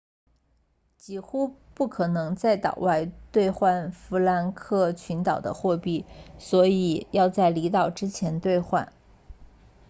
几乎不可能在岛外兑换福克兰群岛的货币所以要在离岛之前兑换